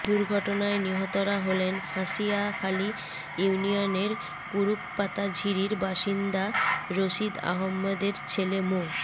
দুর্ঘটনায় নিহতরা হলেন ফাঁসিয়াখালী ইউনিয়নের কুরুকপাতা ঝিরির বাসিন্দা রশিদ আহমদের ছেলে মো